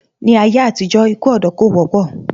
Ní ayé àtijó, ikú òdó kò wópò